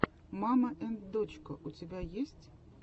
мама энд дочка у тебя есть